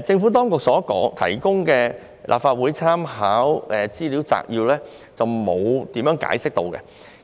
政府所提供的立法會參考資料摘要沒有詳細解釋，